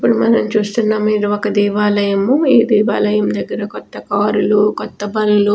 ఇప్పుడు మనం చూస్తున్నాము ఇది ఒక్క దేవాలయము ఈ దేవాలయం దగ్గర కొత్త కార్ లు కొత్త బండ్లు.